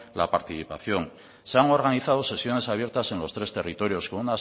la participación se han organizado sesiones abiertas en los tres territorios